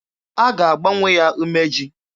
A ga-agbanwe ya umeji.